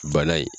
Bana in